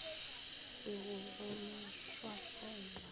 se go go no šwahlela